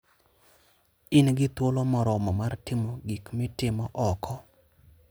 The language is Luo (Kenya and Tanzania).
In gi thuolo moromo mar timo gik mitimo oko.